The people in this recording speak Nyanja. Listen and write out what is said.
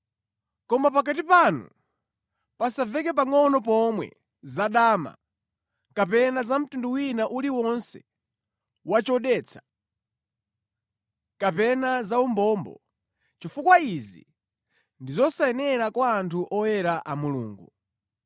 Koma pakati panu pasamveke nʼpangʼono pomwe zadama, kapena za mtundu wina uliwonse wa chodetsa, kapena za umbombo, chifukwa izi ndi zosayenera kwa anthu oyera a Mulungu.